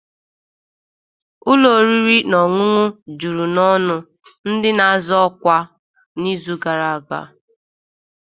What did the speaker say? Ụlọ oriri na ọṅụṅụ juru n'ọnụ ndị na-azọ ọkwa n'izu gara aga